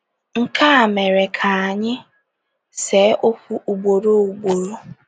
Nke a mere ka anyị see okwu ugboro ugboro. ”